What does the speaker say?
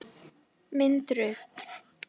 Mynd Rut.